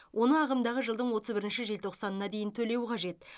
оны ағымдағы жылдың отыз бірінші желтоқсанына дейін төлеу қажет